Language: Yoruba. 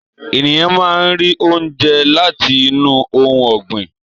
Ènìyàn máá ń rí oúnjẹ láti inú ohun ọgbin.